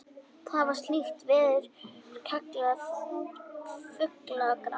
var slíkt veður kallað fuglagráð